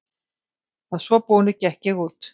Að svo búnu gekk ég út.